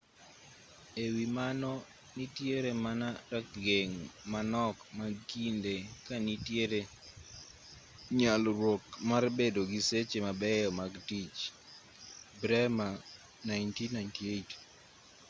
e wi mano nitire mana rageng' manok mag kinde ka nitiere nyalruok mar bedo gi seche mabeyo mag tich. bremer 1998